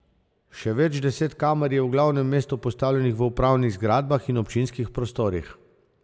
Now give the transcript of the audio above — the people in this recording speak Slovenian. Še več deset kamer je v glavnem mestu postavljenih v upravnih zgradbah in občinskih prostorih.